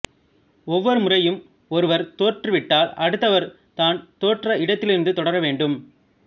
ஒவ்வொரு முறையும் ஒருவர் தோற்று விட்டால் அடுத்தவர் தான் தோற்ற இடத்திலிருந்து தொடர வேண்டும்